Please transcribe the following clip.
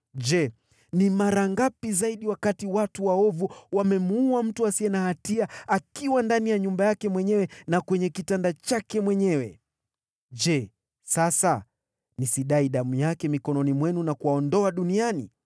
Je, ni mara ngapi zaidi wakati watu waovu wamemuua mtu asiye na hatia akiwa ndani ya nyumba yake mwenyewe na kwenye kitanda chake mwenyewe? Je, sasa nisidai damu yake mikononi mwenu na kuwaondoa duniani?”